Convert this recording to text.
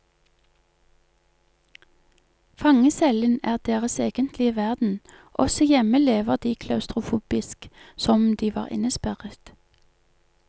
Fangecellen er deres egentlige verden, også hjemme lever de klaustrofobisk, som om de var innesperret.